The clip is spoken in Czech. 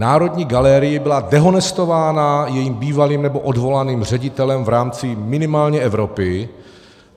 Národní galerie byla dehonestována jejím bývalým nebo odvolaným ředitelem v rámci minimálně Evropy.